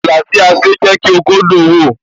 Ààlà tí a ṣe jẹ́ kí ó dùn ún wò